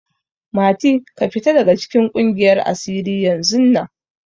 Mati, ka fita daga cikin ƙungiyar asiri yanzun nan!